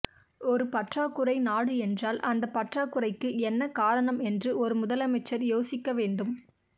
ஒருபற்றாக்குறை நாடு என்றால் அந்தப் பற்றாக்குறைக்கு என்ன காரணம் என்று ஒரு முதலமைச்சர் யோசிக்க வேண்டும்